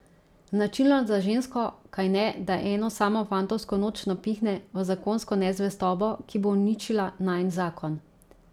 Značilno za žensko, kajne, da eno samo fantovsko noč napihne v zakonsko nezvestobo, ki bo uničila najin zakon?